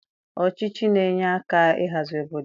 Ọchịchị na-enye aka ịhazi obodo.